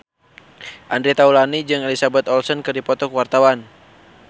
Andre Taulany jeung Elizabeth Olsen keur dipoto ku wartawan